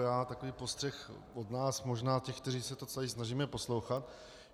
Já takový postřeh od nás, možná těch, kteří se to celé snažíme poslouchat.